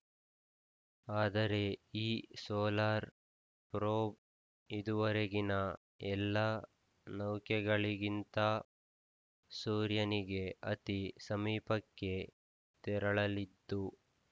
ಆದರೆ ಈ solar probe ಇದುವರೆಗಿನ ಎಲ್ಲಾ ನೌಕೆಗಳಿಗಿಂತ ಸೂರ್ಯನಿಗೆ ಅತಿ ಸಮೀಪಕ್ಕೆ ತೆರಳಲಿದ್ದು